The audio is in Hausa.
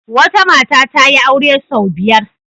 Wata mata ta yi aure sau biyar.